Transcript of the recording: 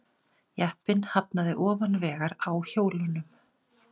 Jeppinn hafnaði ofan vegar á hjólunum